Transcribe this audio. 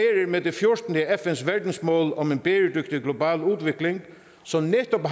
med det fjortende af fn’s verdensmål om en bæredygtig global udvikling som netop